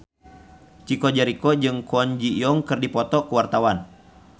Chico Jericho jeung Kwon Ji Yong keur dipoto ku wartawan